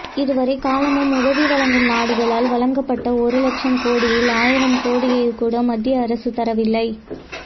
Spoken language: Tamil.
இதுவரை காலமும் உதவி வழங்கும் நாடுகளால் வழங்கப்பட்ட ஒரு லட்சம் கோடியில் ஆயிரம் கோடியை கூட மத்திய அரசு தரவில்லை